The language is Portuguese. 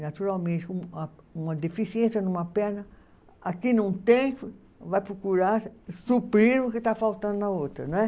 naturalmente, uma deficiência numa perna, aqui num tempo vai procurar suprir o que está faltando na outra, né?